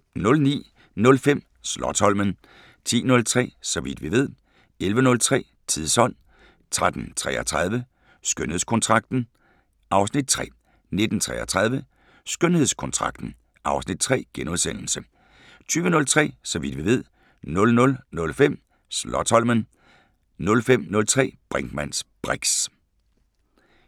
09:05: Slotsholmen 10:03: Så vidt vi ved 11:03: Tidsånd 13:33: Skønhedskontrakten (Afs. 3) 19:33: Skønhedskontrakten (Afs. 3)* 20:03: Så vidt vi ved 00:05: Slotsholmen 05:03: Brinkmanns briks